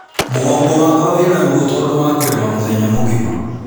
Mũgongo wakwa wĩna ruo tondũ wa kũrĩma mũthenya mũgima